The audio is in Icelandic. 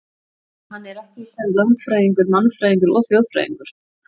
Hann er ekki í senn landfræðingur, mannfræðingur og þjóðfræðingur.